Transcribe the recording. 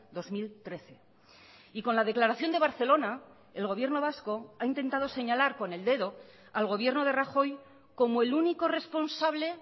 dos mil trece y con la declaración de barcelona el gobierno vasco ha intentado señalar con el dedo al gobierno de rajoy como el único responsable